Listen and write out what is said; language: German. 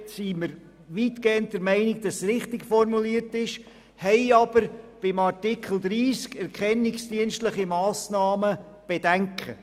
Dort sind wir weitgehend der Meinung, dass es richtig formuliert ist, haben aber bei Artikel 30, Erkennungsdienstliche Massnahmen, Bedenken.